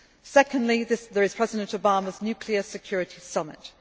Secondly, there is President Obama's Nuclear Security